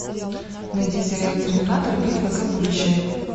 найди сериал терминатор битва за будущее